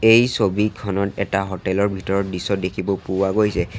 এই ছবিখনত এটা হোটেল ৰ ভিতৰৰ দৃশ্য দেখিব পোৱা গৈছে।